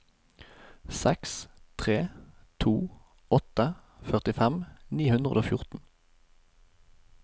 seks tre to åtte førtifem ni hundre og fjorten